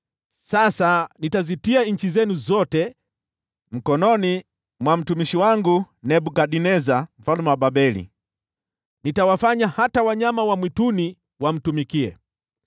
Sasa nitazitia nchi zenu zote mkononi mwa mtumishi wangu Nebukadneza mfalme wa Babeli, na nitawafanya hata wanyama wa mwituni wamtumikie.